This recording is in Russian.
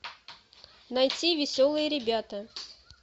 найти веселые ребята